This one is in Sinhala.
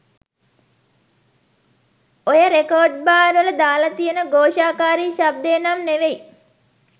ඔය රෙකෝඩ්‍බාර්වල දාල තියෙන ගෝෂාකාරී ශබ්‍දය නම් නෙවෙයි